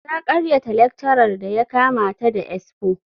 Ta karyata lecturer da ya kama ta da expo.